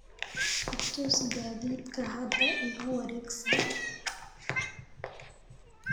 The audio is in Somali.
i tus gaadiidka hadda igu wareegsan